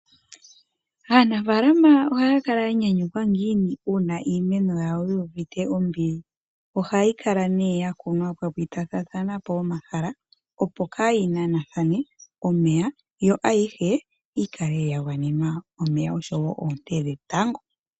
Aanafaalama ohaya kala yanyanyukwa ngiini uuna iimeno yawo yuuvite ombili. Ohayi ne yokunwa pwapitatathanapo omahala opo kayinanathane omeya yo ayihe yikale yagwanenwa omeya oshowo oonte dhetango.